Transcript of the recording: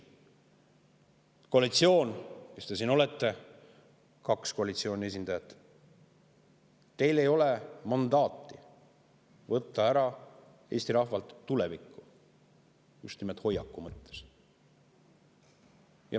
Koalitsiooni, kes te siin olete – kaks koalitsiooni esindajat –, teil ei ole mandaati võtta Eesti rahvalt ära tulevikku, just nimelt hoiaku mõttes.